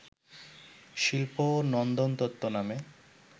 শিল্প ও নন্দনতত্ত্ব নামে